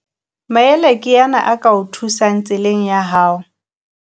Maele ke ana a ka o thusang tseleng ya hao.